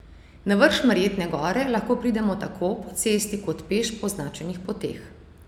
Na vrh Šmarjetne gore lahko pridemo tako po cesti kot peš po označenih poteh.